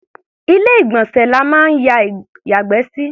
Ilé-ìgbọ̀nsẹ̀ la máa ń yàgbẹ́ sí.